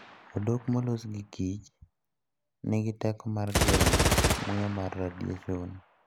Odok molos gi Kich nigi teko mar geng'o muya mar radiation.